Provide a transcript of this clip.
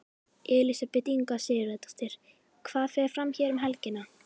Elísabet Inga Sigurðardóttir: Hvað fer fram hér um helgina?